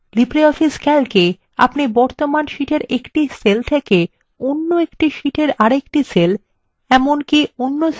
libreoffice ক্যালকএ আপনি বর্তমান শীটএর একটি সেল থেকে অন্য একটি শীটএর আরেকটি সেল এমনকি